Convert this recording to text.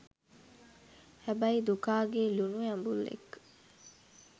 හැබැයි දුකාගේ ලුනු ඇඹුල් එක්ක